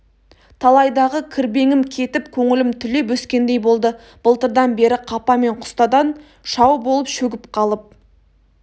талайдағы кірбеңім кетіп көңілім түлеп өскендей болды былтырдан бері қапа мен құстадан шау болып шөгіп қалып